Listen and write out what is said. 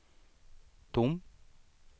tom